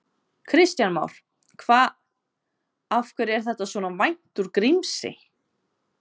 Kristján Már: Hvað, af hverju er þetta svona vænt úr Grímsey?